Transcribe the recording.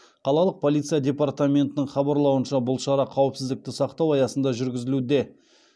қалалық полиция департаментінің хабарлауынша бұл шара қауіпсіздікті сақтау аясында жүргізілуде